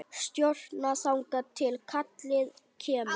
Stjórna þangað til kallið kemur.